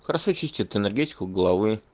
хорошо чистит энергетику головы